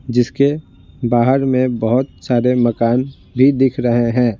जिसके बाहर में बहुत सारे मकान भी दिख रहे हैं।